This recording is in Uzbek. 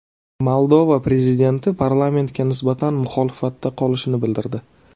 Moldova prezidenti parlamentga nisbatan muxolifatda qolishini bildirdi.